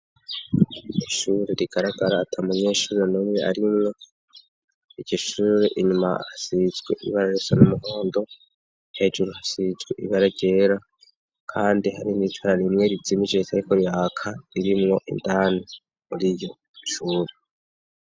Ishuri rigaragara atamunyeshuri numwe arimwo, iryo shure inyuma hasizwe ibara risa n'umuhondo hejuru hasizwe ibara ryera kandi hari n'itara rimwe rizimije ritariko riraka ririmwo indani muriryo shuri.